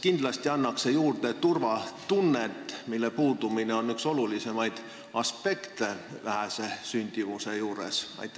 Kindlasti annaks see juurde turvatunnet, mille puudumine on üks olulisemaid aspekte, kui me räägime vähesest sündimusest.